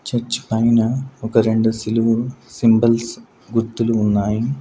Church పైన ఒక రెండు సిలువు సింబల్స్ గుర్తులు ఉన్నాయి.